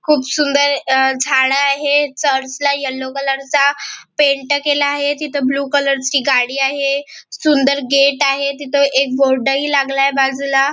खुप सुंदर झाड आहे चर्चला येल्लो कलर चा पेंट केलेल आहे तिथ ब्लू कलर ची गाडी आहे सुंदर गेट आहे तिथ एक बोर्ड ही लागलाय बाजूला.